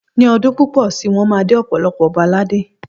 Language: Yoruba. Ní ọdún púpọ̀ si, wọ́n máa dé ọ̀pọ̀lọpọ̀ ọba ládé